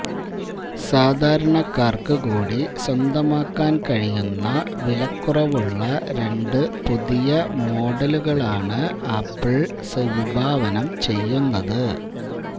സാധാരണക്കാര്ക്കു കൂടി സ്വന്തമാക്കാന് കഴിയുന്ന വില്ക്കുറവുള്ള രണ്ട് പുതിയ മോഡലുകളാണ് ആപ്പിള് വിഭാവനം ചെയ്യുന്നത്